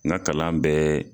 N ka kalan bɛɛ